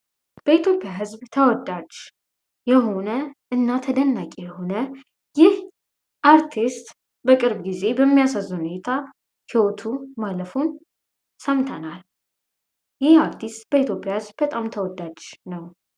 በኢትዮጵያ ዝብ ተወዳጅ የሆነ እና ተደናቂ የሆነ ይህ አርቲስት በቅርብ ጊዜ በሚያሳዝን ሁኔታና ህይወቱ ማለፉን ሰምተናል። ይህ አርስቲስት በኢትዮጵያ ውስጥ በጣም ተወዳጅ ነው።